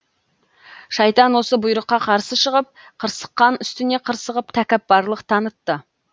шайтан осы бұйрыққа қарсы шығып қырсыққан үстіне қырсығып тәкаппарлық танытты